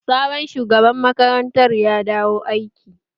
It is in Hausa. Sabon shugaban makarantar ya dawo aiki?